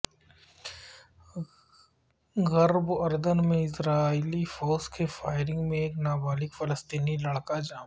غرب اردن میں اسرائیلی فوج کی فائرنگ میں ایک نابالغ فلسطینی لڑکا جاں بحق